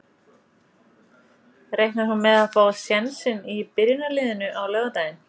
Reiknar hún með að fá sénsinn í byrjunarliðinu á laugardaginn?